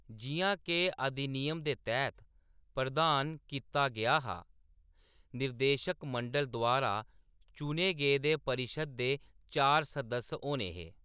जिʼयां के अधिनियम दे तैह्‌‌‌त प्रदान कीता गेआ हा, निदेशक मंडल द्वारा चुने गेदे परिशद दे चार सदस्य होने हे।